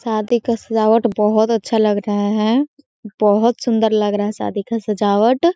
शादी का सजावट बहोत अच्छा लग रहा है बहोत सुंदर लग रहा है शादी का सजावट--